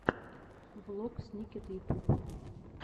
влог сникет ютуб